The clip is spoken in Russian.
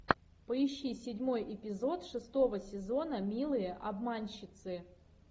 поищи седьмой эпизод шестого сезона милые обманщицы